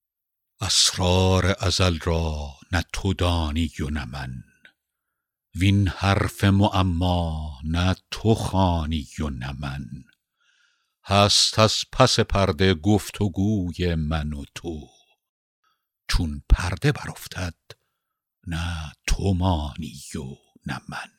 اسرار ازل را نه تو دانی و نه من وین حرف معما نه تو خوانی و نه من هست از پس پرده گفت وگوی من و تو چون پرده برافتد نه تو مانی و نه من